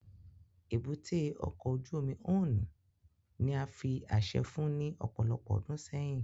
Ébúté ọkọ ojú omi Onne ni a fi aṣẹ fun ni ọpọlọpọ ọdun sẹyin